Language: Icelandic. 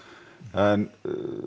en